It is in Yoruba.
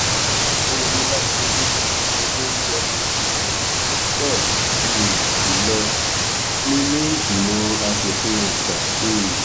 ọpẹyẹmí bámidélé di olórí ọmọ ilẹ tó pọ um jù lọ nílẹẹgbímọ asòfin àgbà um